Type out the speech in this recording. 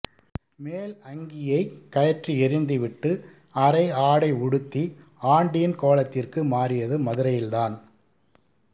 மேல் அங்கியைக் கழற்றி எறிந்துவிட்டு அரை ஆடை உடுத்தி ஆண்டியின் கோலத்திற்கு மாறியது மதுரையில்தான்